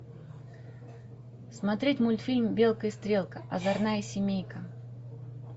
смотреть мультфильм белка и стрелка озорная семейка